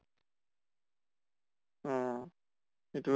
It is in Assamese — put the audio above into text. অহ ইটো